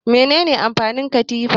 Mene ne amfanin katifa?